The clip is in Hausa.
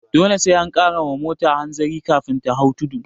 Dole sai an kara wa mota hanzari kafin ta hau tudu